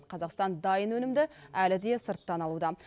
қазақстан дайын өнімді әлі де сырттан алуда